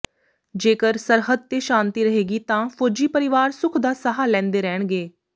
ਜੇਕਰ ਸਰਹੱਦ ਤੇ ਸ਼ਾਂਤੀ ਰਹੇਗੀ ਤਾਂ ਫੌਜੀ ਪਰਿਵਾਰ ਸੁਖ ਦਾ ਸਾਹ ਲੈਂਦੇ ਰਹਿਣਗੇ